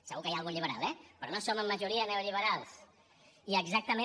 segur que hi ha algun liberal eh però no som en majoria neoliberals i exactament